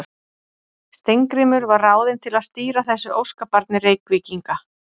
Steingrímur var ráðinn til að stýra þessu óskabarni Reykvíkinga.